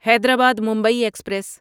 Hyderabad Mumbai express